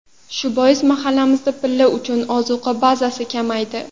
Shu bois mahallamizda pilla uchun ozuqa bazasi kamaydi.